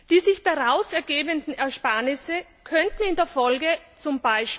Die sich daraus ergebenden Ersparnisse könnten in der Folge z.